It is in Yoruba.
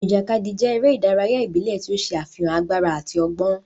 Ijakadi jẹ ere idaraya ibile ti o ṣe afihan agbara ati ọgbọn.